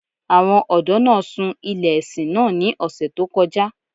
Àwọn ọdọ̀ naa ṣúń ilẹ̀-ẹ̀ṣin naa ní òṣè tó kọ́ja